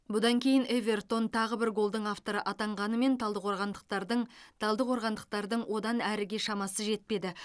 бұдан кейін эвертон тағы бір голдың авторы атанғанымен талдықорғандықтардың талдықорғандықтардың одан әріге шамасы жетпеді